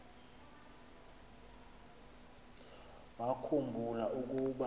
wakhu mbula ukuba